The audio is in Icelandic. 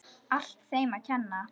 Allt þeim að kenna.!